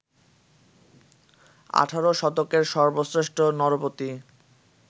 আঠারো শতকের সর্বশ্রেষ্ঠ নরপতি